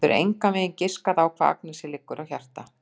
Hún getur engan veginn giskað á hvað Agnesi liggur á hjarta.